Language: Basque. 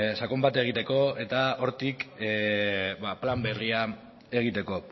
sakon bat egiteko eta hortik plan berria egiteko